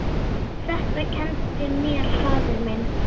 Þetta kenndi mér faðir minn.